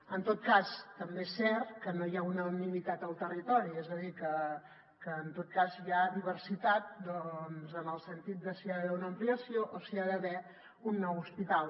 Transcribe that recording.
en tot cas també és cert que no hi ha unanimitat al territori és a dir que en tot cas hi ha diversitat en el sentit de si hi ha d’haver una ampliació o si hi ha d’haver un nou hospital